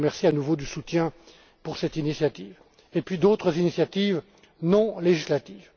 Je vous remercie à nouveau du soutien pour cette initiative, ainsi que d'autres initiatives non législatives.